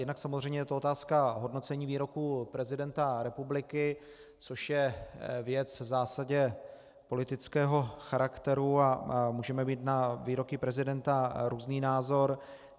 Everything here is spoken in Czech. Jednak samozřejmě je to otázka hodnocení výroků prezidenta republiky, což je věc v zásadě politického charakteru a můžeme mít na výroky prezidenta různý názor.